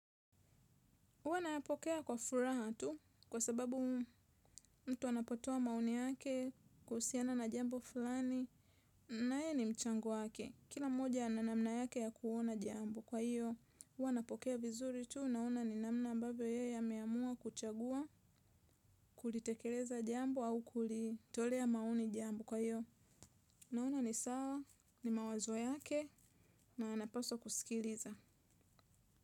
Huwa nayapokea kwa furaha tu kwa sababu mtu anapotoa maoni yake kuhusiana na jambo fulani. Naye ni mchango wake. Kila mmoja ana namna yake ya kuona jambo. Kwa hiyo, huwa napokea vizuri tu naona ni namna ambavyo yeye ameamua kuchagua kulitekeleza jambo au kulitolea maoni jambo. Kwa hiyo, naona ni sawa, ni mawazo yake, na anapaswa kusikiliza.